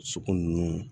Sugu ninnu